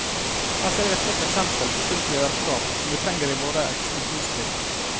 Her ser vi et godt eksempel på sunt lederskap som vi trenger i våre ekspansjonstider.